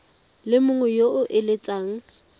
le mongwe yo o eletsang